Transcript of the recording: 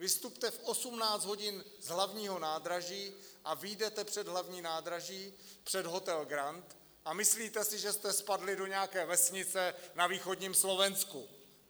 Vystupte v 18 hodin z hlavního nádraží a vyjdete před hlavní nádraží, před hotel Grand, a myslíte si, že jste spadli do nějaké vesnice na východním Slovensku.